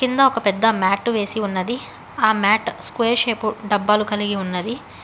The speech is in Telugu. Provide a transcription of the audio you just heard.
కింద ఒక పెద్ద మ్యాటు వేసి ఉన్నది ఆ మ్యాట్ స్క్వేర్ షేపు డబ్బాలు కలిగి ఉన్నది.